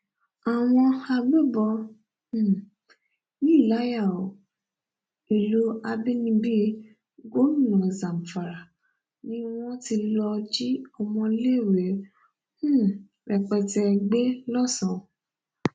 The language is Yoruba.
àwọn agbébọn um yìí láyà o ìlú àbínibí gómìnà zamfara ni wọn ti lọọ jí ọmọléèwé um rẹpẹtẹ gbé lọsàn